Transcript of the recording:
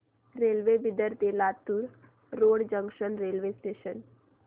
railway Bidar ते Latur road junction railway station